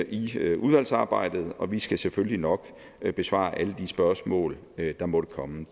i udvalgsarbejdet og vi skal selvfølgelig nok besvare alle de spørgsmål der måtte komme